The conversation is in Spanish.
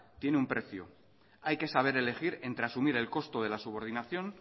tiene un precio hay que saber elegir entre asumir el costo de la subordinación